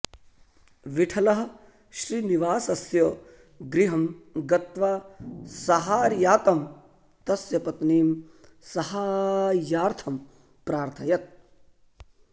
विठलः श्रीनिवासस्य गृहं गत्वा सहायार्तं तस्य पत्नीं सहाय्यार्थम् प्रार्थयत्